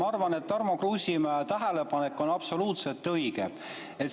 Ma arvan, et Tarmo Kruusimäe tähelepanek on absoluutselt õige.